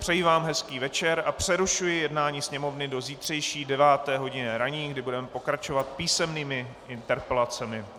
Přeji vám hezký večer a přerušuji jednání Sněmovny do zítřejší deváté hodiny ranní, kdy budeme pokračovat písemnými interpelacemi.